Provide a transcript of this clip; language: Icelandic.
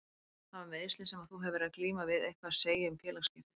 Hafa meiðslin sem að þú hefur verið að glíma við eitthvað að segja um félagsskiptin?